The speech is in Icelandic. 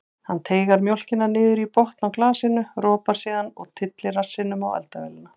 Hann teygar mjólkina niður í botn á glasinu, ropar síðan og tyllir rassinum á eldavélina.